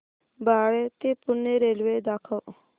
बाळे ते पुणे रेल्वे दाखव